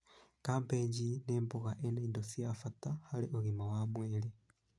Kambĩji nĩ mboga ĩna indo cia bata harĩ ũgima mwega wa mwĩrĩ